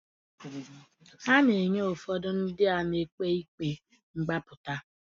A na-enye ụfọdụ ndị a na-ekpe ikpe mgbapụta.